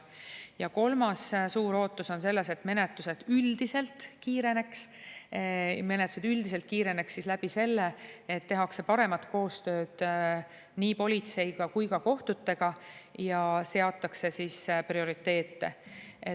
Ja kolmas suur ootus on selles, et menetlused üldiselt kiireneks – kiireneks läbi selle, et tehakse paremat koostööd nii politsei kui ka kohtutega ja seatakse prioriteete.